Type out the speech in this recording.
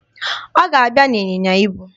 Ọ ga-abịa n'ịnyịnya ibu.